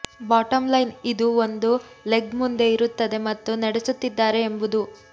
bottom line ಇದು ಒಂದು leg ಮುಂದೆ ಇರುತ್ತದೆ ಮತ್ತು ನಡೆಸುತ್ತಿದ್ದಾರೆ ಎಂಬುದು